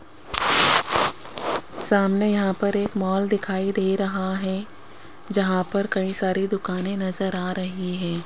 सामने यहां पर एक मॉल दिखाई दे रहा है जहां पर कई सारी दुकाने नजर आ रही हैं।